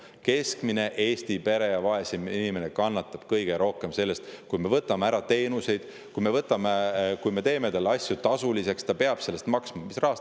Keskmine Eesti pere ja vaesem inimene kannatab kõige rohkem, kui me võtame ära teenuseid ja kui me teeme asju tasuliseks ning ta peab nende eest maksma hakkama.